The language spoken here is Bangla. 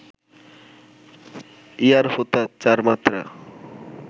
‘ইয়ার হোতা’ চার মাত্রা